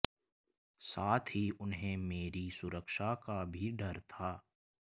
साथ ही उन्हें मेरी सुरक्षा का भी डर था